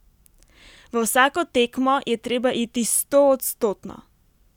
V vsako tekmo je treba iti stoodstotno.